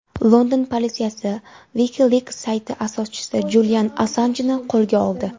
London politsiyasi WikiLeaks sayti asoschisi Julian Assanjni qo‘lga oldi.